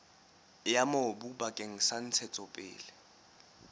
ya mobu bakeng sa ntshetsopele